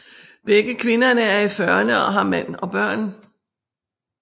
Begge kvinder er i fyrrene og har mand og børn